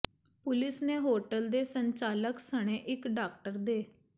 police ਨੇ hotel ਦੇ ਸੰਚਾਲਕ ਸਣੇ ਇਕ ਡਾਕਟਰ ਦੇ